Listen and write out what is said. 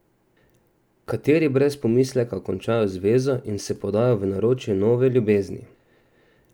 Kateri brez pomisleka končajo zvezo in se podajo v naročje nove ljubezni?